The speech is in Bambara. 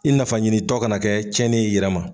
I nafa ɲinitɔ kana kɛ tiɲɛni ye i yɛrɛ ma.